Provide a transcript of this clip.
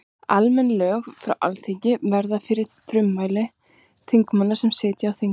Almenn lög frá Alþingi verða til fyrir frumkvæði þingmanna sem sitja á þingi.